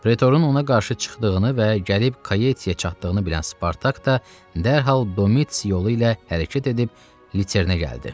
Pretorun ona qarşı çıxdığını və gəlib Kaietiyə çatdığını bilən Spartak da dərhal Domits yolu ilə hərəkət edib Liternə gəldi.